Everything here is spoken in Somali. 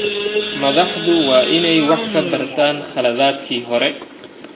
Madaxdu waa inay wax ka bartaan khaladaadkii hore.